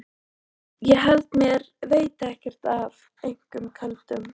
Ég held mér veiti ekkert af einum köldum.